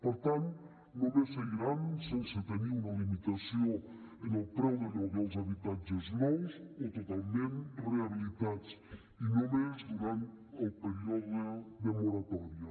per tant només seguiran sense tenir una limitació en el preu del lloguer els habitatges nous o totalment rehabilitats i només durant el període de moratòria